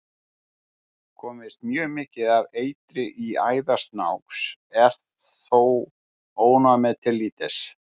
Komist mjög mikið af eitri í æðar snáks er þó ónæmið til lítils.